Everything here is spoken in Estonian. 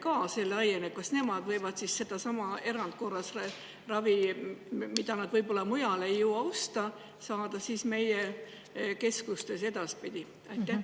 Kas nemad võivad edaspidi saada meie keskustes sedasama erandkorras ravi, mida nad võib-olla mujal ei jõua osta?